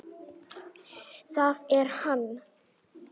ÞAÐ ER HANN!